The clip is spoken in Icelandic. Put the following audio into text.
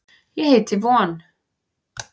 Ég heiti von.